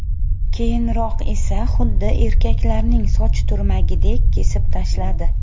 Keyinroq esa xuddi erkaklarning soch turmagidek kesib tashladi.